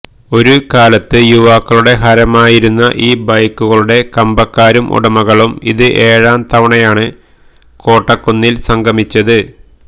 ഒരുകാലത്ത് യുവാക്കളുടെ ഹരമായിരുന്ന ഈ ബൈക്കുകളുടെ കമ്പക്കാരും ഉടമകളും ഇത് ഏഴാംതവണയാണ് കോട്ടക്കുന്നിൽ സംഗമിച്ചത്